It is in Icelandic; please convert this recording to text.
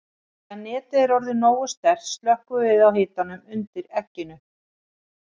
Þegar netið er orðið nógu sterkt slökkvum við á hitanum undir egginu.